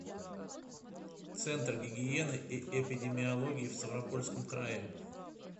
центр гигиены и эпидемиологии в ставропольском крае